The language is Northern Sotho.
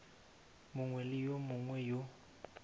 mongwe le yo mongwe yo